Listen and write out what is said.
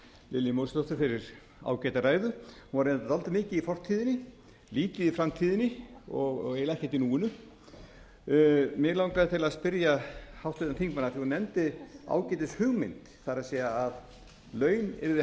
lilju mósesdóttur fyrir ágæta ræðu hún var reyndar dálítið mikið í fortíðinni lítið í framtíðinni og eiginlega ekkert í núinu mig langaði til að spyrja háttvirtan þingmann af því að hún nefndi ágætishugmynd það er að laun yrðu